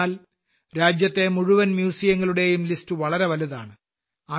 എന്തെന്നാൽ രാജ്യത്തെ മുഴുവൻ മ്യൂസിയങ്ങളുടെയും വളരെ വലുതാണ്